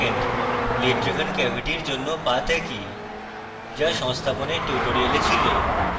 lid driven cavity এর জন্য path একই যা সংস্থাপনের টিউটোরিয়ালে ছিল